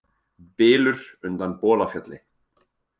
Bylur undan Bolafjalli